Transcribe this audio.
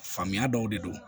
Faamuya dɔw de don